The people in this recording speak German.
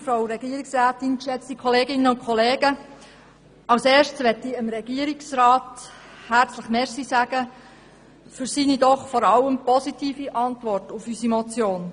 Zuerst möchte ich dem Regierungsrat herzlich für seine doch hauptsächlich positive Antwort auf unsere Motion danken.